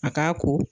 A k'a ko